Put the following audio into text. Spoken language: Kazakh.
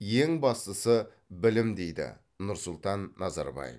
ең бастысы білім дейді нұрсұлтан назарбаев